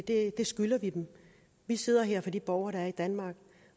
det skylder vi dem vi sidder her for de borgere der er i danmark